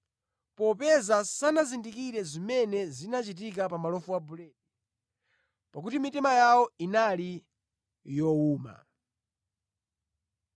popeza sanazindikire zimene zinachitika pa malofu a buledi; pakuti mitima yawo inali yowuma.